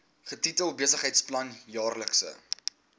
getitel besigheidsplan jaarlikse